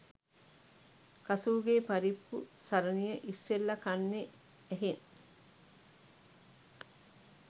කසූ ගේ පරිප්පු සරණිය ඉස්සෙල්ල කන්නෙ ඇහෙන්